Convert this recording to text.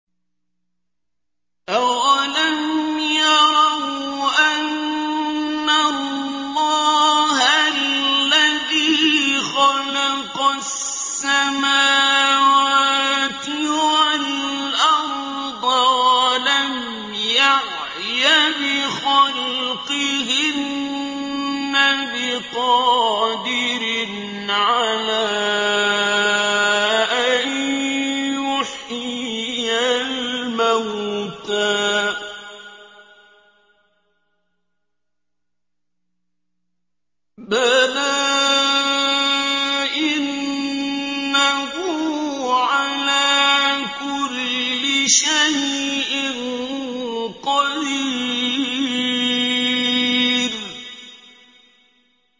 أَوَلَمْ يَرَوْا أَنَّ اللَّهَ الَّذِي خَلَقَ السَّمَاوَاتِ وَالْأَرْضَ وَلَمْ يَعْيَ بِخَلْقِهِنَّ بِقَادِرٍ عَلَىٰ أَن يُحْيِيَ الْمَوْتَىٰ ۚ بَلَىٰ إِنَّهُ عَلَىٰ كُلِّ شَيْءٍ قَدِيرٌ